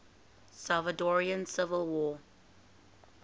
salvadoran civil war